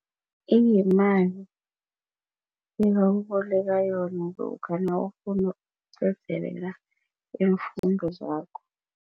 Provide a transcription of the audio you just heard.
Iyimali ebakuboleka yona lokha nawufuna ukuqedelela iimfundo zakho.